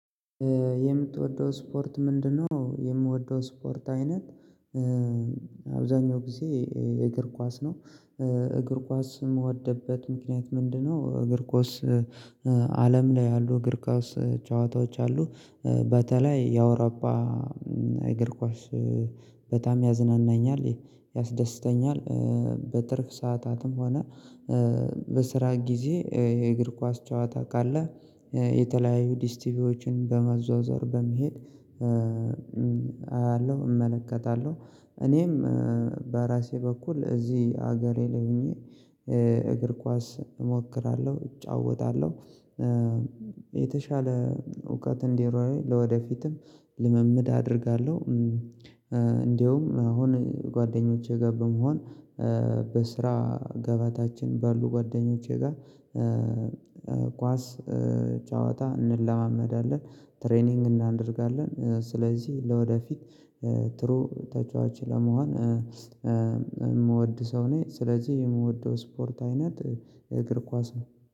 የምትወደው ስፖርት ምንድነው? የምወደው ስፖርት አይነት አብዛኛው ጊዜ የእግር ኳስ ነው። እግር ኳስ የምወደበት ምክንያት ምንድነው? እግር ኳስ አለም ላይ ያሉ እግር ኳስ ጨዋታዎች አሉ። በተለይ የአውሮፓ እግር ኳስ በጣም ያዝናናኛል ያስደስተኛል። በትርፍ ሰዓታትም ሆነ በስራ ጊዜ የእግር ኳስ ጨዋታ ካለ የተለያዩ ዲስቲቪዎችን በመዘዋወር በመሄድ አያለሁ እመለከታለሁ። እኔም በራሴ በኩል እዚህ ሀገሬ ለሆኜ እግር ኳስ እሞክራለሁ እጫወታለሁ። የተሻለ እውቀት እንድኒሮኝ ለወደፊትም ልምምድ አደርጋለሁ። እንደውም አሁን ጓደኞቼ ጋር በመሆን በስራ ገበታችን ባሉ ጓደኞቼ ጋር ኳስ ጫወታ እንለማመዳለን ትሬኒንግ እናደርጋለን። ስለዚህ ለወደፊት ጥሩ ተጫዋች ለመሆን የምወድ ሰው ነኝ ስለዚህ የምወደው ስፖርት አይነት የእግር ኳስ ነው